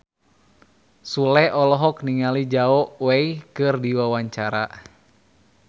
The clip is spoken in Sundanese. Sule olohok ningali Zhao Wei keur diwawancara